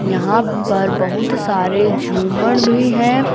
यहां पर बहुत सारे झूमर भी हैं।